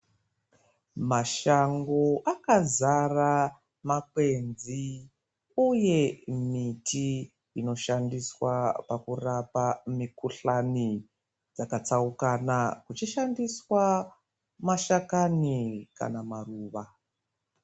Mashango akadzara makwenzi uye miti inoshandiswa pakurapa mukuhlani dzakatsaukana kuchishandiswa mashakani kana maruva.